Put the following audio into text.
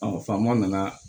faamaw nana